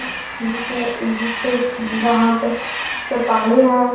जिसपे-अ-जिसके ज-वहाँ पे पे पानी हे।